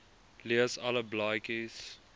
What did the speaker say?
lees alle blaadjies